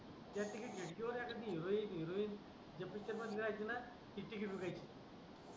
ज्या ठिकाणी सुपर एखादी हीरोइन या पुढचे पण आहेत ना ते हिरोईन